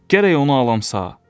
Gərək onu alam sağ.